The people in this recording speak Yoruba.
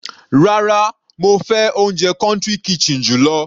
Rárá, mo fẹ́ oúnjẹ country kitchen jù lọ.